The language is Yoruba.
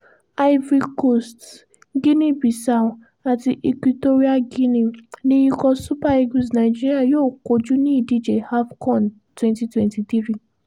ivory coast, guinea bissau àti equatorial guinea ni ikọ̀ super eagles nàìjíríà yóò kojú ní ìdíje afcon twenty twenty three